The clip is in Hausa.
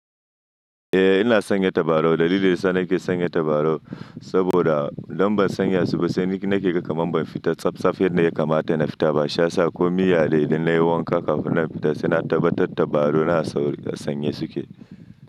Eh ina sanya tabarau. Dalilin da ya sa nake sanya tabarau saboda idan ban sanya su ba sai ni nake ga kaman ban fita tsaf tsa yanda ya kamata na fita ba. Shi ya sa ko miya dai idan na yi wanka kafin na fita sai na tabbatar tabarau na a sauri a sanye suke.